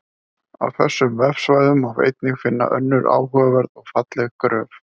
Á þessum vefsvæðum má einnig finna önnur áhugaverð og falleg gröf.